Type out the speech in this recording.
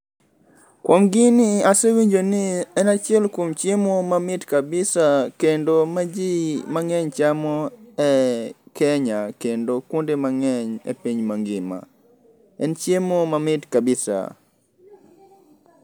Kuom gini asewinjo ni en achiel kuom chiemo mamit kabisa kendo ma ji mang'eny chamo e Kenya kendo kuonde mang'eny e piny mangima. En chiemo mamit [kabisa].